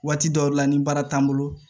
Waati dɔw la ni baara t'an bolo